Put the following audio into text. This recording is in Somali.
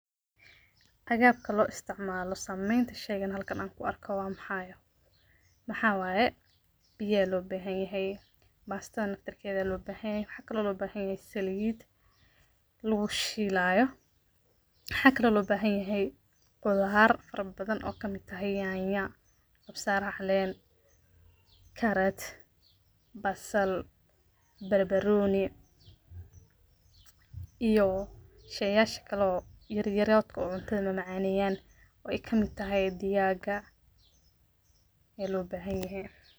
Agabka loo isticmaalo sameynta shaygan mesha aan ku arko maxaa waye biya loo bahanyahy baastada naftir keeda loo bahanyahy waxaa kalo loo bahanyahay saliid lagu shiilaayo waxa kalo loo bahanyahy qudaar fara badan oy kamid tahay yanya, kabsar caleen, karat, basal, barbanoni iyo shayasha kalo yaryaradka oo cuntada macaaneyaan oo ay kamid tahay digaaga ya loo bahanyahy.